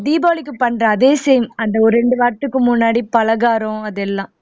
தீபாவளிக்கு பண்ற அதே same அந்த ஒரு ரெண்டு வாரத்துக்கு முன்னாடி பலகாரம் அதெல்லாம்